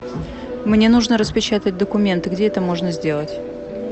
мне нужно распечатать документы где это можно сделать